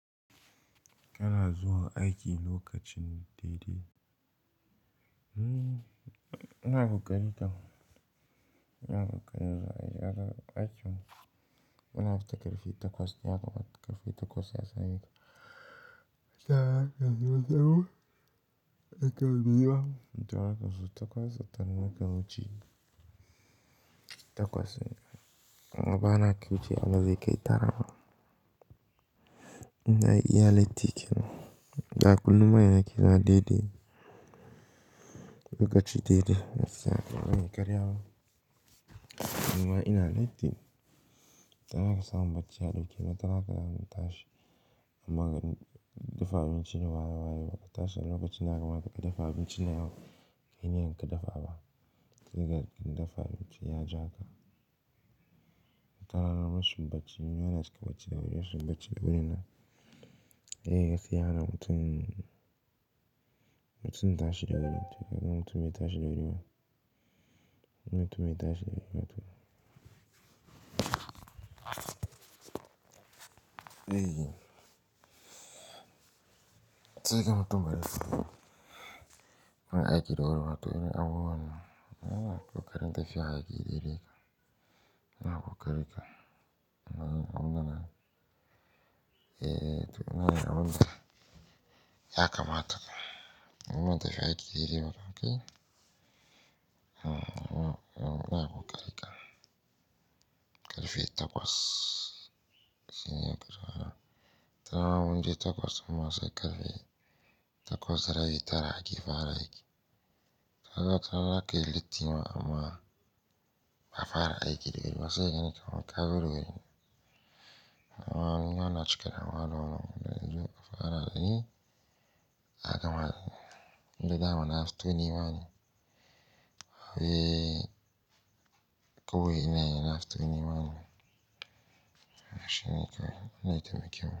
Kana zuwa aiki lokacin daidai. Nna goganninta. Nna goganninta. Aiki. Ina fita ƙarfe takwas. Ina fita ƙarfe takwas ya sani. Tana kasuwa tawo. Tana biya. Tana kasuwa takwas, ta nuna ka wuce. Takwas. Amma bana kyau ce amma zai kai tara ma. Ina iya latti kenan. Da kullum waya na kira daidai. Lokaci daidai. Yace a gani karya ma. Amma ina latti. Tana kasuwa bacci ya ɗauke. Tana kasuwa mun tashi. Amma dafa abinci ne waye waye ba ka tashi ba. Lokacin naka maka dafa abinci na yau. Kai ne kika dafa ba. Ka riga kin dafa abinci ya ja ka. Tana rarraba shubbacci. Yana cika bacci da wuri. Shubbacci da wuri na. Eh, gaskiya ana mutum, mutum tashi da wuri. Tana mutum ya tashi da wuri ma. Mutum ya tashi da wuri ma to. Eh. Sai ka mutu maras. Kana aiki da wuri ma to ina awon nan. Awon nan. Ko karen da fiye aiki daidai ka. Ina kuka riƙa. Awon nan. Eh, to ina ga abun da. Yakamata ka. Awon da fiye aiki daidai ka. Okay? Awon ina kuka riƙa. Ƙarfe takwas. Shin yana kura. Wataran wanje takwas amma sai ƙarfe takwas raye tara aiki fara aiki. Tana ta ke litti ma amma ba fara aiki da wuri ba. Sai ya nuna kawo ka bar wuri. Amman yawan cika. Awon nan. Fara aiki. Yakamata. Da dama na aftoni ma ne. Eh, kawai ina na gitoni ma ne. Shin nake nake miƙewa.